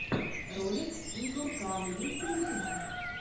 ролик игоркава есть ли у тебя